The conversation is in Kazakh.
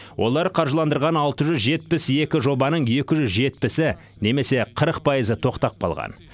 олар қаржыландырған алты жүз жетпіс екі жобаның екі жүз жетпісі немесе қырық пайызы тоқтап қалған